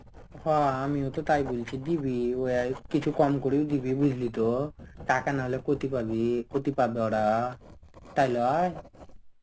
হ. আমিও তো তাই বলছি. দিবি ওয়াও. কিছু কম করেও দিবি বুঝলি তো. টাকা না হলে কতি পাবি. কতি পাবি ওরা. তাই লয়?